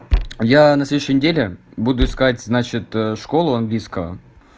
я на следующей недели буду искать значит школу английского